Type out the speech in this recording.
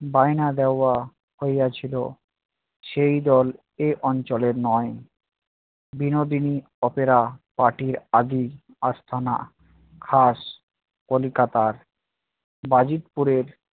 বায়না দেওয়া হইয়াছিল সেই দল এই অঞ্চলের নয়। বিনোদিনী opera party র আদি আস্তানা খাস কলিকাতার বাজিদ পুরের